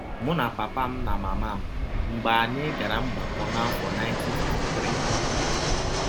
Mụ na papa m na mama m, mgbe anyị gara mgbakọ n’afọ 1953